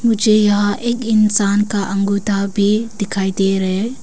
मुझे यहां एक इंसान का अंगूठा भी दिखाई दे रहे है।